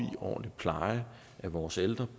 en ordentlig pleje af vores ældre